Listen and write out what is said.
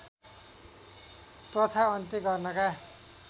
प्रथा अन्त्य गर्नका